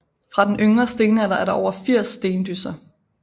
Fra den yngre stenalder er der over 80 Stendysser